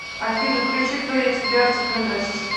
афина включи кто я тебе артик энд асти